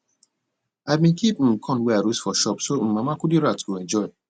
i bin keep um corn wey i roast for shop so um mama kudirat go enjoy